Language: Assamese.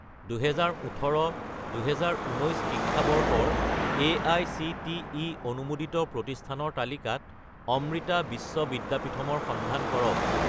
2018 - 2019 শিক্ষাবৰ্ষৰ এআইচিটিই অনুমোদিত প্ৰতিষ্ঠানৰ তালিকাত অমৃতা বিশ্ব বিদ্যাপীথম ৰ সন্ধান কৰক